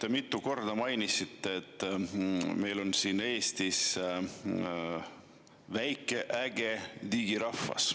Te mitu korda mainisite, et meil on siin Eestis väike äge digirahvas.